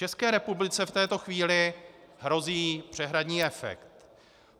České republice v této chvíli hrozí přehradní efekt.